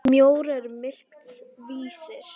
Mjór er mikils vísir.